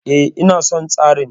E, ina son tsarin.